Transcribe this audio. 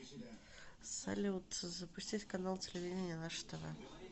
салют запустить канал телевидения наше тв